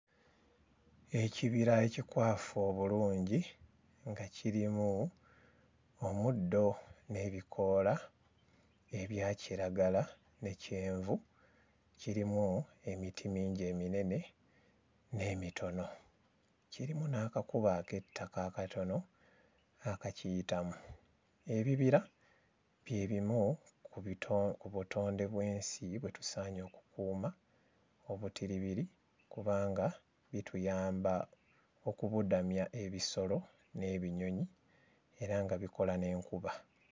Ekibira ekikwafu obulungi nga kirimu omuddo n'ebikoola ebya kiragala ne kyenvu, kirimu emiti mingi eminene n'emitono, kirimu n'akakubo ak'ettaka akatono akakiyitamu. Ebibira bye bimu ku bito ku butonde bw'ensi bwe tusaanye okukuuma obutiribiri kubanga bituyamba okubudamya ebisolo n'ebinyonyi era nga bikola n'enkuba.